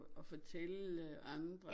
Og fortælle andre